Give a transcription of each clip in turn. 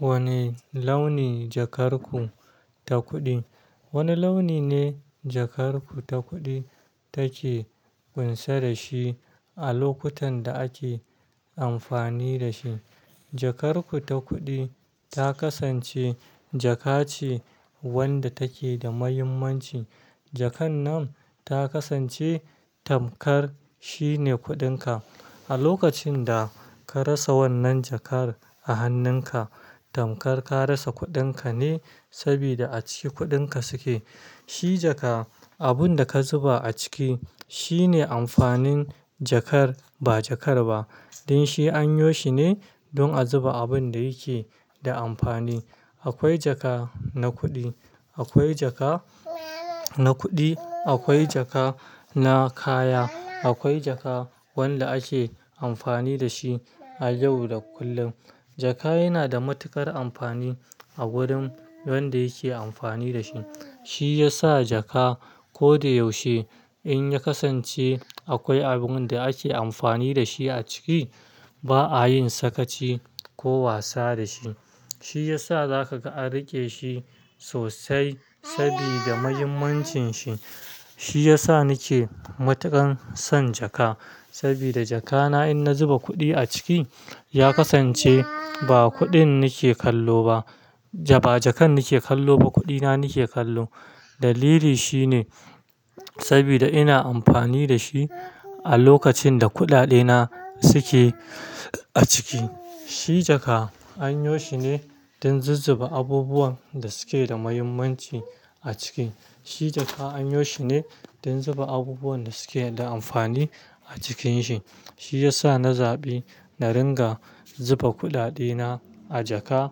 Wane launi jakar ku ta kuɗi? Wane launi ne jakar ku ta kuɗi take ƙunsa da shi a lokutan da ake amfani da shi. Jakar ku ta kuɗi ta kasance jaka ce wanda take da mahimmanci. Jakan nan ta kasance tamkar shine kuɗin ka. A lokacin da ka rasa wannan jakar a hannun ka, tamkar ka rasa kuɗin ka ne, saboda a ciki kuɗin ka suke. Shi jaka abun da ka zuba a ciki shine amfanin jakar ba jakar ba. Don shi an yo shi ne don a zuba abun da yake da amfani. Akwai jaka na kuɗi, akwai jaka na kuɗi, akwai jaka na kaya, akwai jaka wanda ake amfani da shi a yau da kullum. Jaka yana da matuƙar amfani a wurin wanda yake amfani da shi. Shi yasa jaka ko da yaushe in ya kasance akwai abun da ake amfani da shi a ciki, ba a yin sakaci ko wasa da shi. Shi yasa za ka ga an riƙe shi sosai saboda muhimmancin shi. Shi yasa ni ke matuƙan son jaka, saboda jaka na in na zuba kuɗi a ciki, ya kasance ba kuɗin nake kallo ba, ba jakan nake kallo ba, kuɗi na nake kallo. Dalili shi ne saboda ina amfani da shi a lokacin da kuɗaɗe na suke a ciki. Shi jaka an yo shi ne don zuzzuba abubuwan da suke da mahimmanci a ciki. Shi jaka an yo shi ne don zuba abubuwan da suke da amfani a cikins shi. Shi yasa na zaɓi na ringa zuba kuɗaɗe na a jaka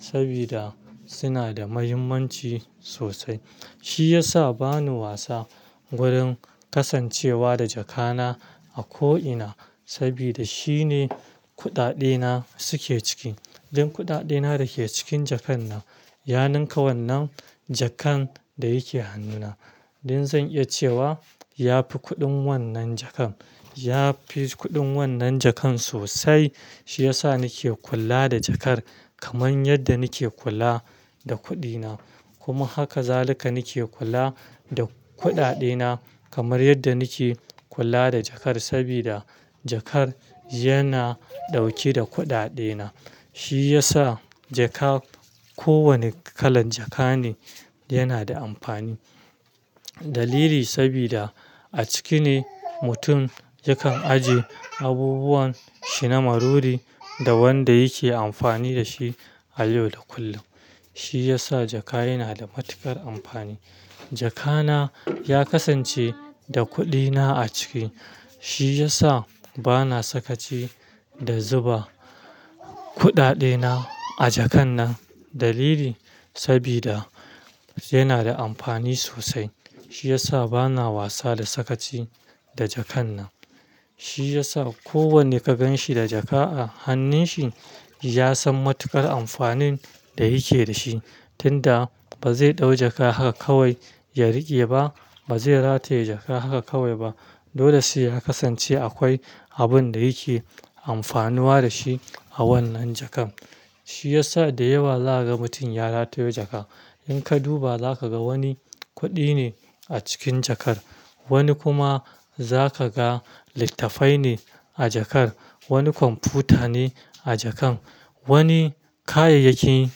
saboda suna da mahimmanci sosai. Shi yasa bani wasa gurin kasancewa da jaka na a ko ina, saboda shine kuɗaɗe na suke ciki. Don kuɗaɗe na yake cikin jakan nan, ya ninka wannan jakar da yake hannuna. Don zan iya cewa ya fi kuɗin wannan jakar. Ya fi kuɗin wannan jakar sosai. Shi yasa nake kula da jakar kamar yadda nake kula da kuɗi na. Kuma haka za lika nake kula da kuɗaɗe na kamar yadda nake kula da jakar. Saboda jakar yana dauke da kuɗaɗe na. Shi yasa jaka ko wane kalan jaka ne yana da amfani. Dalili saboda a ciki ne mutum yakan ajiye abubuwan shi na maruri da wanda yake amfani da shi a yau da kullum. Shi yasa jaka yana da matuƙar amfani. Jaka na ya kasance da kuɗi na a ciki. Shi yasa bana sakaci da zuba kuɗaɗe na a jakan nan. Dalili saboda yana da amfani sosai. Shi yasa bana wasa da sakaci da jakan nan. Shi yasa kowanne ka gan shi da jaka a hannun shi, ya san matuƙar amfanin da yake da shi. Tunda ba zai ɗau jaka haka kawai ya riƙe ba, ba zai rataye jaka haka kawai ba. Dole sai ya kasance akwai abun da yake amfanuwa da shi a wannan jakar. Shi yasa da yawa za ka ga mutum ya rataye jaka. In ka duba za ka ga wani kuɗi ne a cikin jakar. Wani kuma za ka ga littattafai ne a jakar. Wani kwamfuta ne a jakan. Wani kayayyakin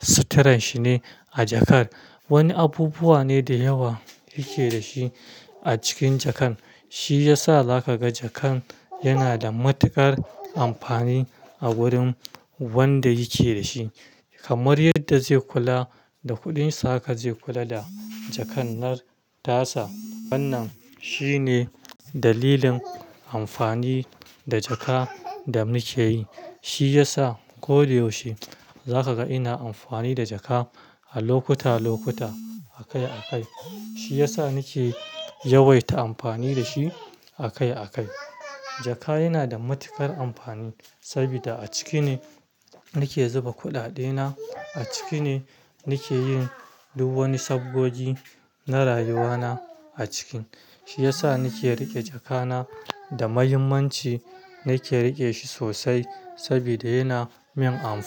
suturan shi ne a jakar. Wani abubuwa ne da yawa yake da shi a cikin jakar. Shi yasa za ka ga jakar yana da matuƙar amfani a wurin wanda yake da shi. Kamar yadda zai kula da kuɗin sa haka zai kula da jakan nan tasa. Wannan shine dalilin amfani da jaka da muke yi. Shi yasa ko da yaushe za ka ga ina amfani da jaka a lokuta lokuta, a kai a kai. Shi yasa ni ke yawaita amfani da shi a kai a kai. Jaka yana da matuƙar amfani saboda a ciki ne nake zuba kuɗaɗe na, a ciki ne nake yin duk wani sabgogi na rayuwa na a cikin. Shi yasa nake riƙe jaka na da mahimmanci. Nake riƙe shi sosai saboda yana min amfani.